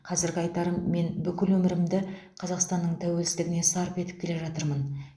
қазіргі айтарым мен бүкіл өмірімді қазақстанның тәуелсіздігіне сарп етіп келе жатырмын